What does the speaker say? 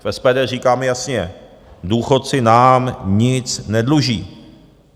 V SPD říkáme jasně - důchodci nám nic nedluží.